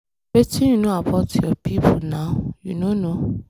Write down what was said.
Wetin you know about your people now? You no know.